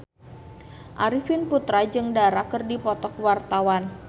Arifin Putra jeung Dara keur dipoto ku wartawan